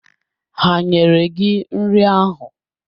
Ha nyere gị nri ahụ?